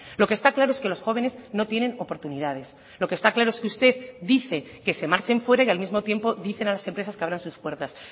lo que está claro es que los jóvenes no tienen oportunidades lo que está claro es que usted dice que se marchen fuera y al mismo tiempo dicen a las empresas que abran sus puertas